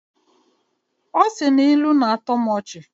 Ọ sị na ilu ga-atọ m ọchị